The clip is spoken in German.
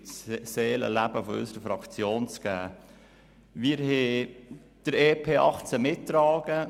Wir werden den Bericht zum EP 2018 mittragen.